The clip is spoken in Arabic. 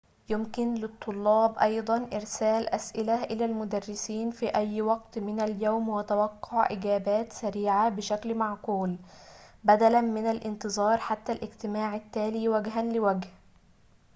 يمكن للطلاب أيضاً إرسال أسئلة إلى المدرسين في أي وقت من اليوم وتوقع إجابات سريعة بشكل معقول بدلاً من الانتظار حتى الاجتماع التالي وجهاً لوجه